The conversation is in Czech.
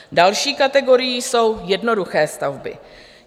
Další kategorií jsou jednoduché stavby.